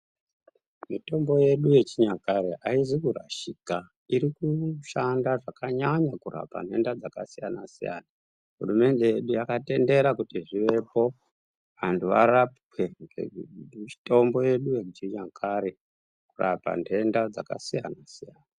Mitombo yedu yechinyakare haizi kurashika irikushanda zvakanyanya kurapa nhenda dzakasiyana-siyana. Hurumende yedu yakatendera kuti zvivepo antu varapwe ngemitombo yedu yechinyakare kurapa nhenda dzakasiyana-siyana.